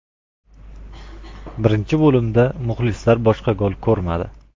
Birinchi bo‘limda muxlislar boshqa gol ko‘rmadi.